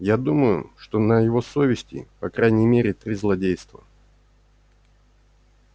я думаю что на его совести по крайней мере три злодейства